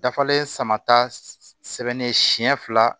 Dafalen sama ta sɛbɛnnen siɲɛ fila